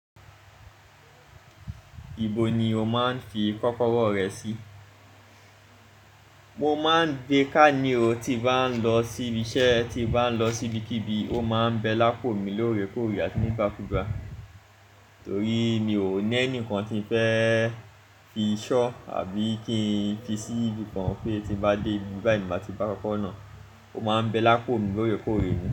Ibo ni o máa ń fi kọ́kọ́rọ́ rẹ sí? Mo máa ń gbé ká ní o tí bá ń lọ síbi iṣẹ́, tí bá ń lọ sí ibikíbi, ó máa ń bẹ lápò mi lóore kóòrí àti ní gbákgbà. Torí mi ò ní ẹnìkan tí fẹ́ fi ṣọ́ àbí kí n fi sí ibi kan pé tí nbá dé ibi báyìí, mo máa ti bá kọ́kọ́ró náà. Ó máa ń bẹ lápò mi lóore kóòrí dá.